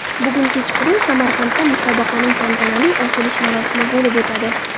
Bugun kechqurun Samarqandda musobaqaning tantanali ochilish marosimi bo‘lib o‘tadi.